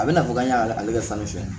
A bɛna fɔ k'an y'ale ka fan fiyɛ